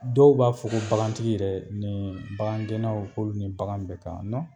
Dɔw b'a fɔ ko bagantigi yɛrɛ ni bagangɛnnaw olu ni bagan bɛ kan